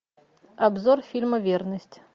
обзор фильма верность